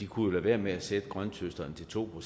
kunne lade være med at sætte grønthøsteren til to